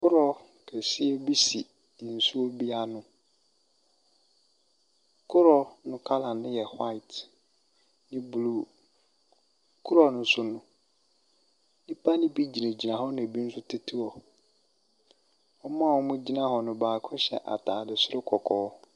Kodoɔ kɛseɛ bi si nsuo bi ano, kodoɔ no colour no yɛ white ne blue. Kodoɔ ne so no, nnipa bi gyinagyina hɔ na bi nso tete hɔ, wɔn a wɔgyina hɔ no baako hyɛ ataade soro kɔkɔɔ.